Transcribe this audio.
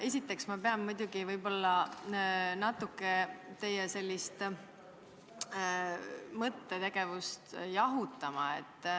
Esiteks pean ma muidugi teie mõttetegevust natuke jahutama.